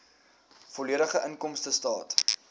volledige inkomstestaat